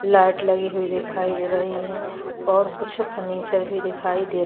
light लगी हुई दिखाई दे रही है और कुछ फर्नीचर भी दिखाई दे र--